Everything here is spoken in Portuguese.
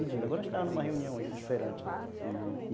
Agora, estamos em uma reunião aí,, uhum